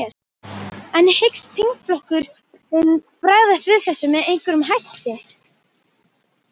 En hyggst þingflokkurinn bregðast við þessu með einhverjum hætti?